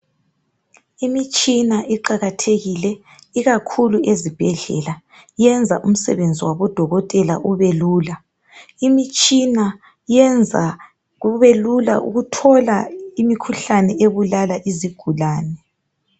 Imitshina iqakathekile ikakhulu ezibhedlela yenza umsebenzi wabodokotela ubelula. Imitshina yenza kubelula ukuthola imikhuhlane ebulala izigulani